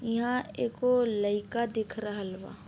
ईहाँ एगो लईका दिख रहल बा।